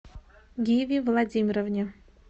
гиви владимировне